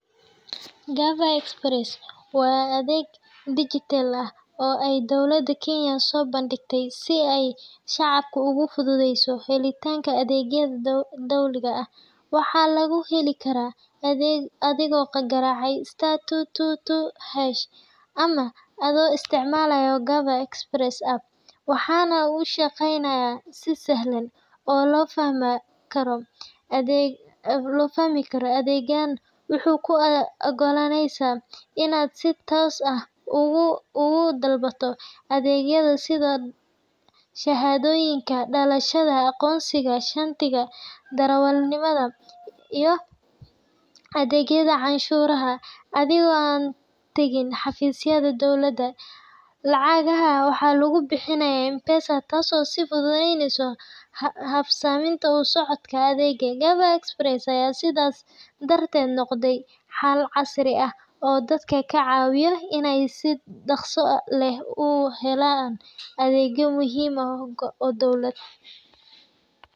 Gava Express waa adeeg dijitaal ah oo ay dowladda Kenya soo bandhigtay si ay shacabka ugu fududeyso helitaanka adeegyada dowliga ah. Waxaa lagu heli karaa adigoo garaacaya sta two two two h ama adoo isticmaalaya Gava Express App, waxaana uu shaqeeyaa si sahlan oo la fahmi karo. Adeeggan wuxuu kuu oggolaanayaa inaad si toos ah uga dalbato adeegyo sida shahaadooyinka dhalashada, aqoonsiga, shatiga darawalnimada, iyo adeegyada canshuuraha, adigoo aan tagin xafiisyada dowladda. Lacagaha waxaa lagu bixiyaa M-Pesa, taasoo sii fududeyneysa habsami u socodka adeega. Gava Express ayaa sidaas darteed noqday xal casri ah oo dadka ka caawiya inay si dhakhso leh u helaan adeegyo muhiim ah oo dowladeed.